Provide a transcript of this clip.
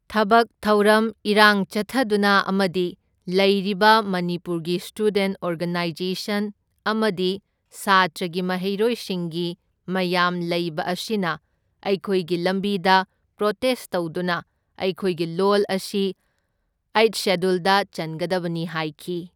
ꯊꯕꯛ ꯊꯧꯔꯝ ꯏꯔꯥꯡ ꯆꯠꯊꯗꯨꯅ ꯑꯃꯗꯤ ꯂꯩꯔꯤꯕ ꯃꯅꯤꯄꯨꯔꯒꯤ ꯁ꯭ꯇꯨꯗꯦꯟꯠ ꯑꯣꯔꯒꯅꯥꯏꯁꯟ ꯑꯃꯗꯤ ꯁꯥꯇ꯭ꯔꯒꯤ ꯃꯍꯩꯔꯣꯏꯁꯤꯡꯁꯤ ꯃꯌꯥꯝ ꯂꯩꯕ ꯑꯁꯤꯅ ꯑꯩꯈꯣꯏꯒꯤ ꯂꯝꯕꯤꯗ ꯄ꯭ꯔꯣꯇꯦꯁ ꯇꯧꯗꯨꯅ ꯑꯩꯈꯣꯏꯒꯤ ꯂꯣꯜ ꯑꯁꯤ ꯑꯩꯏꯠ ꯁꯦꯗ꯭ꯌꯨꯜꯗ ꯆꯟꯒꯗꯕꯅꯤ ꯍꯥꯏꯈꯤ꯫